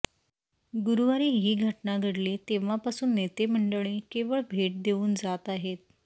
गुरुवारी ही घटना घडली तेव्हापासून नेते मंडळी केवळ भेट देऊन जात आहेत